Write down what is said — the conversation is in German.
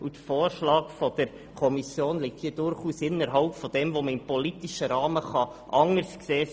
Der Vorschlag der Kommission liegt durchaus innerhalb dessen, was man im politischen Rahmen anders sehen kann.